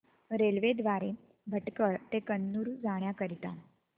railway द्वारे भटकळ ते कन्नूर जाण्या करीता